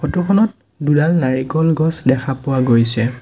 ফটোখনত দুডাল নাৰিকল গছ দেখা পোৱা গৈছে।